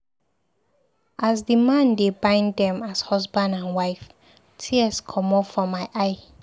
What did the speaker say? As the man dey bind dem as husband and wife, tears comot for my eye.